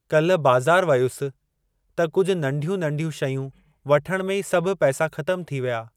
काल्हि बाज़ार वयुसि त कुझु नंढियूं नंढियूं , शयूं वठणु में ई सभु पैसा ख़तम थी विया।